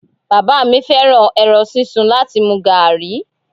Bàbá mi fẹ́ràn ẹran sísun láti mu gààrí.